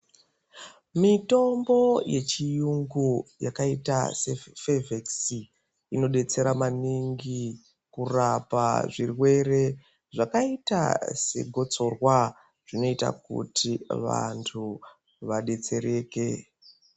Mitombo yechiyungu yakaita sefevhekisi, inodetsera maningi kurapa zvirwere zvakaita segotsorwa. Zvinoita kuti vantu vadetsereke.